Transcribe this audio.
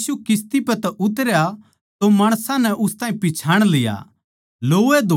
जिब यीशु किस्ती पै तै उतरया तो माणसां नै उस ताहीं पिच्छाण लिया